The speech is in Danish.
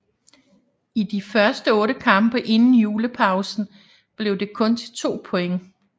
I de første 8 kampe inden julepausen blev det kun til 2 point